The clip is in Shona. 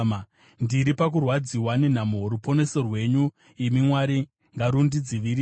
Ndiri pakurwadziwa nenhamo; ruponeso rwenyu imi Mwari, ngarundidzivirire.